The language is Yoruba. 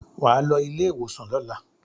Wà á lọ ilé-ìwòsàn lọ́la.